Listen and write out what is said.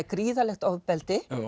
gríðarlegt ofbeldi